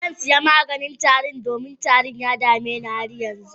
Zan saya maganin tari yau, domin tarin yana dame ni har yanzu.